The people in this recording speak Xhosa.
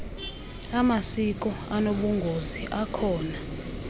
amasiko anobungozi akhona